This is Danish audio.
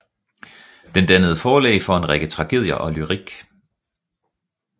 Den dannede forlæg for en række tragedier og lyrik